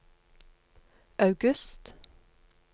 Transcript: august